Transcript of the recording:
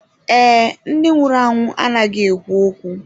Ee, ndị nwụrụ anwụ anaghị ekwu okwu.